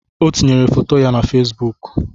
O tinyere foto ya na fesbụụk.